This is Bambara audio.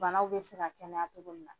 Banaw bɛ se ka kɛnɛya cogo min na.